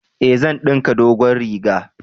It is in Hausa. Eh, zan dinka dogon riga